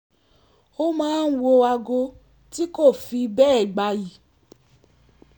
ó máa ń wọ aago tí kò fi bẹ́ẹ̀ gbayì